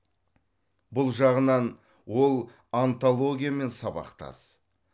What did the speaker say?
бұл жағынан ол онтологиямен сабақтас